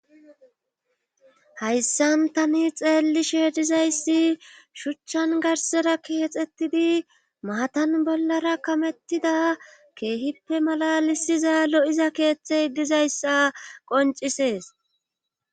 hayssan tani xeellishe dizayssi shuchchan garsera keexettidi maatan bollara kamettida keehippe malalisiza lo7iza keeththey dizayssa qoncisees